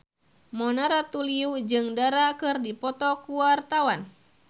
Mona Ratuliu jeung Dara keur dipoto ku wartawan